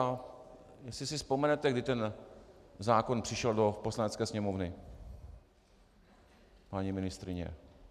A jestli si vzpomenete - kdy ten zákon přišel do Poslanecké sněmovny, paní ministryně?